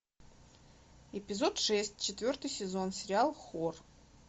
эпизод шесть четвертый сезон сериал хор